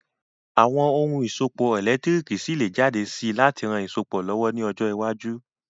Àwon oun ìsopọ̀ ẹ̀lẹ́ntírikì ṣi lé jáde si láti ran isopọ̀ lọ̀wọ̀ ni ojọ́ iwájú